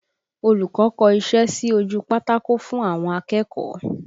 Olùkọ́ kọ iṣẹ́ sí ojú pátákó fún àwọn akẹ́kọ̀ọ́